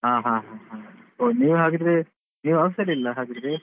ಹ ಹ ಹಾ ಓ ನೀವ್ ಹಾಗಿದ್ರೆ ನೀವ್ office ಅಲ್ಲಿ ಇಲ್ಲಾ ಹಾಗಿದ್ರೆ.